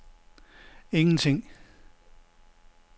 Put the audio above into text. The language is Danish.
ingenting